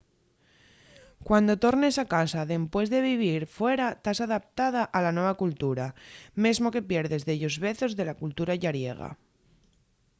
cuando tornes a casa dempués de vivir fuera tas adaptada a la nueva cultura mesmo que pierdes dellos vezos de la cultura llariega